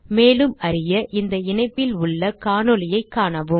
மேலும் அறிய இந்த இணைப்பில் உள்ள காணொளியைக் காணவும்